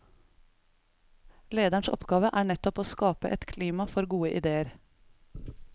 Lederens oppgave er nettopp å skape et klima for gode ideer.